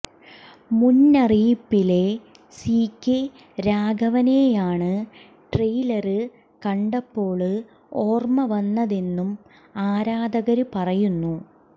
മുന്നറിയിപ്പിലെ CK രാഘവനെയാണ് trailer കണ്ടപ്പോള് ഓര്മ്മ വന്നതെന്നും ആരാധകര് പറയുന്നു